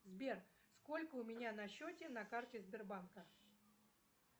сбер сколько у меня на счете на карте сбербанка